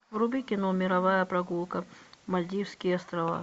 вруби кино мировая прогулка мальдивские острова